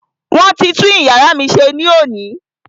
Wọ́n ti tún iyàrá mí ṣe ní òní.